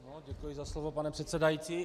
Děkuji za slovo, pane předsedající.